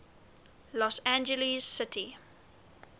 los angeles city